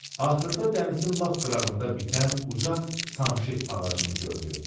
Axırda dənizin lap qırağında bitən uca samşit ağacını gördü.